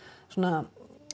svona